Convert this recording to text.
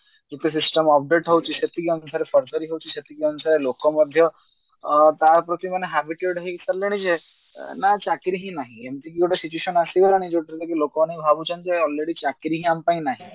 ଯେତେ system update ହଉଛି ସେଇକି ଆମେ ହଉଛି ସେତିକି ଜିନିଷ ଲୋକ ମଧ୍ୟ ଅ ତା ପ୍ରତି ମାନେ habited ହେଇ ସାରିଲେଣି ଯେ ଅ ନା ଚାକିରି ହିଁ ନାହିଁ ଏମତି ଗୋଟେ situation ଆସିଗଲାଣି ଯେଉଥିରେ ଲୋକମାନେ ଭାବୁଛନ୍ତି କି ଯେ already ଚାକିରି ହିଁ ଆମ ପାଇଁ ନାହିଁ